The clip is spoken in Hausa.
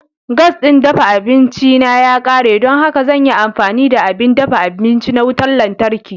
Gas ɗin dafa abinci na ya ƙare, don haka zan yi amfani da abin dafa abinci na wutar lantarki.